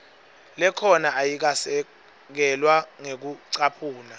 lekhona ayikasekelwa ngekucaphuna